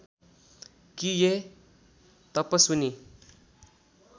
कि हे तपस्विनी